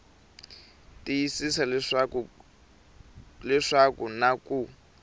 tiyisisa leswaku ku na ku